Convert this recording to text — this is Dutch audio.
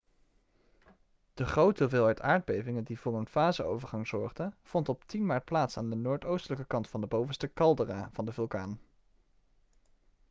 de grote hoeveelheid aardbevingen die voor een faseovergang zorgden vond op 10 maart plaats aan de noordoostelijke kant van de bovenste caldera van de vulkaan